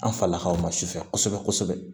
An falakaw ma sufɛ kosɛbɛ kosɛbɛ